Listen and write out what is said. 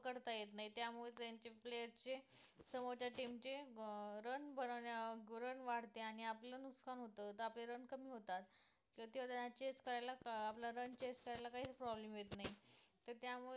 पकडता येत नाही त्यामुळे त्यांच्या player चे समोरच्या team चे अं run बनणवण्या run वाढते आणि आपलं नुकसान होते तर आपले run कमी होतात तर त्यांना chase करायला आपल्याला run chase करायला काहीच problem येत नाही तर त्यामुळे